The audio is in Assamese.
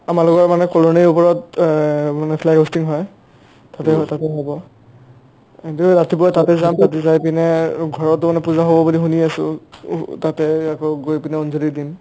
আমাৰ লগৰ মানে colonyৰ ওপৰত এহ মানে flag hosting হয় তাতে হয় তাতে হ'ব বোধই ৰাতিপুৱা তাতে যাম তাতে যায় পিনে অ ঘৰতো মানে পূজা হ'ব শুনি আছো ওহ তাতে গৈ গৈ পিনে অন্জলী দিম